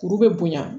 Kuru be bonya